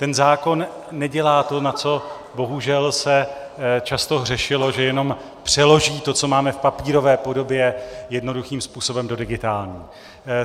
Ten zákon nedělá to, na co bohužel se často hřešilo, že jenom přeloží to, co máme v papírové podobě, jednoduchým způsobem do digitální.